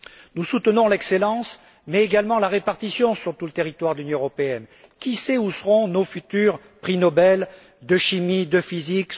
Nous soutenons l'excellence mais également la répartition sur tout le territoire de l'Union européenne. Qui sait où émergeront nos futurs prix Nobel de chimie, de physique?